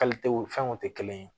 fɛnw tɛ kelen ye